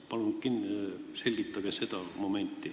Palun selgitage seda!